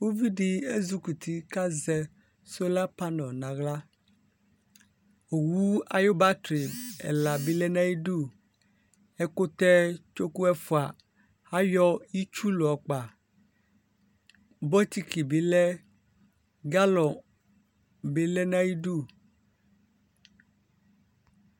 Uvi di ezuk'uti k'azɛ solar panɛl n'aɣla Owu ayʋ battery ɛla bi lɛ n'ayidu Ɛkutɛ tsoku ɛfua ayɔ itsu layɔ kpa Bokiti bi lɛ, galon bi lɛ n'ayidu